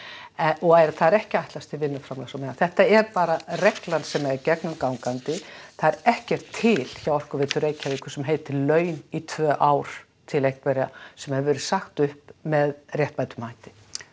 og það er ekki ætlast til vinnuframlags á meðan þetta er bara reglan sem er gegnum gangandi það er ekkert til hjá Orkuveitu Reykjavíkur sem heitir laun í tvö ár til einhverra sem hefur verið sagt upp með réttmætum hætti